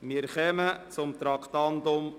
Wir kommen zum Traktandum 103: